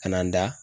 Ka na n da